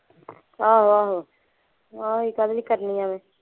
ਆਹੋ ਆਹੋ ਅਸੀਂ ਕਾਹਦੇ ਲਈ ਕਰਨੀ ਐਵੇਂ।